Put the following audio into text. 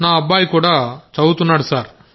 నా అబ్బాయి కూడా చదువుతున్నాడు సార్